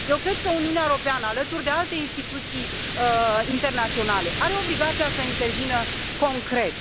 Eu cred că Uniunea Europeană, alături de alte instituții internaționale, are obligația să intervină concret.